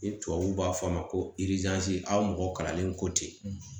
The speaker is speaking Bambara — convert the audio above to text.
Ni tubabuw b'a fɔ a ma ko aw mɔgɔ kalanlen kɔ ten